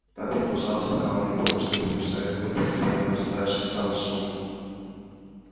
так продолжалось пока он не понял что ему мешает думать постепенно нарастающий странный шум